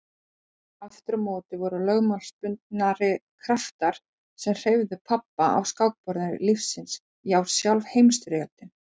Aftur á móti voru lögmálsbundnari kraftar sem hreyfðu pabba á skákborði lífsins já sjálf Heimsstyrjöldin.